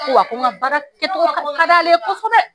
ko wa ko n ka baarakɛcogo ka d'ale ye kosɛbɛ